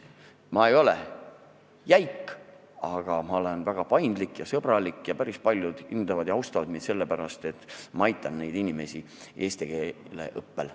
Ma ei ole jäik, ma olen väga paindlik ja sõbralik ning päris paljud hindavad ja austavad mind sellepärast, et ma aitan neid inimesi eesti keele õppel.